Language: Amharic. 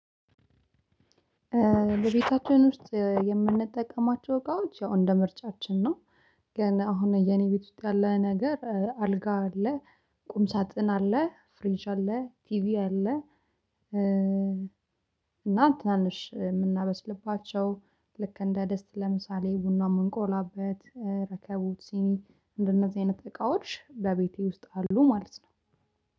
ለቤታችን ውስጥ የምንጠቀማቸው እቃዎች ያው እንደ ምርጫችን ነው። ግን አሁን የኔ ቤት ውስጥ ያለ ነገር አልጋ አለ ቁም ሳጥን አለ ፍሬሽ አለ ቲቪ አለ። እና ታንሽ የምናበስልባቸው ልክ እንደ ድስት ለምሳሌ ቡና የምንቆላበት ረከቡት ሲኒ እንደነዚህ አይነት እቃዎች በቤቴ ውስጥ አሉ ማለት ነው።